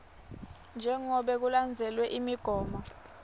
njengobe kulandzelwe imigomo